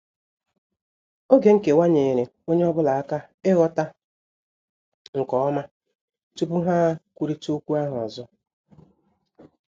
Oge nkewa nyeere ọnye ọbụla aka ighọta nke ọma tupu ha kwụrita okwu ahụ ọzọ.